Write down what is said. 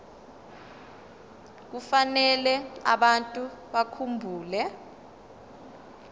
kufanele abantu bakhumbule